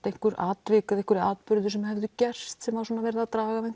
einhver atvik eða atburðir sem höfðu gerst sem var svo verið að draga